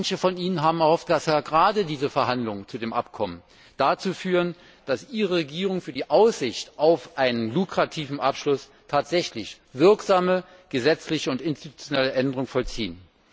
Manche von ihnen haben erhofft, dass gerade diese Verhandlungen zu dem Abkommen dazu führen, dass ihre Regierung für die Aussicht auf einen lukrativen Abschluss tatsächlich wirksame gesetzliche und institutionelle Veränderungen vollziehen.